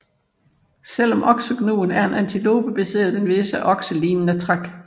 Selv om oksegnuen er en antilope besidder den visse okselignende træk